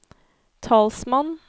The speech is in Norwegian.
talsmann